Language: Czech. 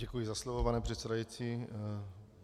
Děkuji za slovo, pane předsedající.